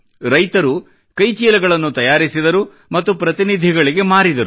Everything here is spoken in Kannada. ರೈತರು ಕೈಚೀಲಗಳನ್ನು ತಯಾರಿಸಿದರು ಮತ್ತು ಪ್ರತಿನಿಧಿಗಳಿಗೆ ಮಾರಿದರು